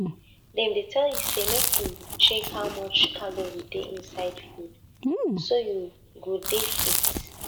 dem dey tell you say make you check how much calorie dey inside food so you go dey fit